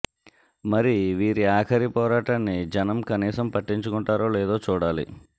మరి వీరి ఆఖరి పోరాటాన్ని జనం కనీసం పట్టించుకుంటారో లేదో చూడాలి